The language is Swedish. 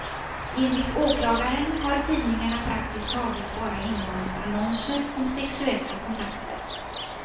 Enligt åklagaren har tidningarna praktiskt taget bara innehållit annonser om sexuella kontakter.